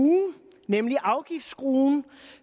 nemlig afgiftsskruen